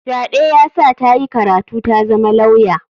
Fyaɗe ya sa ta yi karatu tazama lauya.